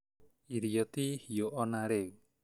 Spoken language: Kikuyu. Irio ti hĩu ona rĩu